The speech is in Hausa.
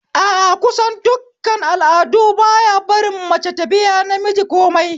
A a, kusan duk al'adu baya barin mace ta biya namiji komai